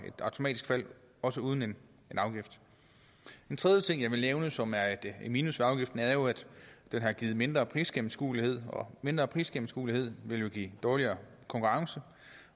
fald også uden en afgift en tredje ting jeg vil nævne som er et minus ved afgiften er jo at den har givet mindre prisgennemskuelighed og mindre prisgennemskuelighed vil give dårligere konkurrence